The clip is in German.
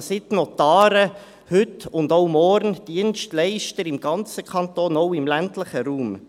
Also: Sind die Notare heute und auch morgen Dienstleister im ganzen Kanton, auch im ländlichen Raum?